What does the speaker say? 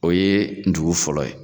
O ye dugu fɔlɔ ye